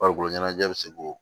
Farikolo ɲɛnajɛ bi se k'o